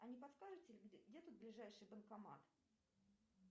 а не подскажете где тут ближайший банкомат